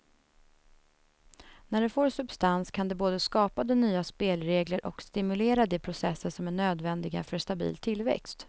När det får substans kan det både skapa de nya spelregler och stimulera de processer som är nödvändiga för stabil tillväxt.